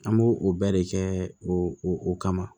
An b'o o bɛɛ de kɛ o o kama